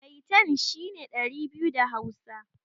Maitan' shine ɗari biyu da hausa.